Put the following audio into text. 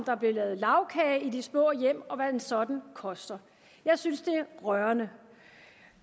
der blev lavet lagkage i de små hjem og hvad en sådan koster jeg synes det er rørende